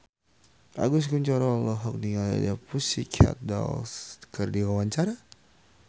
Agus Kuncoro olohok ningali The Pussycat Dolls keur diwawancara